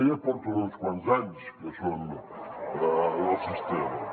ja porten uns quants anys que són del sistema